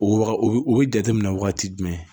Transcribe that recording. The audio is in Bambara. O waga o bɛ jateminɛ wagati jumɛn